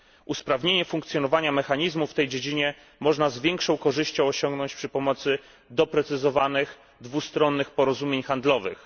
Usprawnienie funkcjonowania mechanizmu w tej dziedzinie można z większą korzyścią osiągnąć przy pomocy doprecyzowanych, dwustronnych porozumień handlowych.